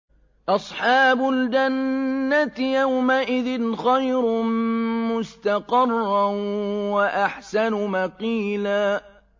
أَصْحَابُ الْجَنَّةِ يَوْمَئِذٍ خَيْرٌ مُّسْتَقَرًّا وَأَحْسَنُ مَقِيلًا